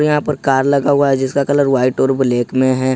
यहां पर कार लगा हुआ है जिसका कलर व्हाइट और ब्लैक में है।